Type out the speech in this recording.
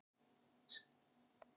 Síðan förum við aftur í skóna.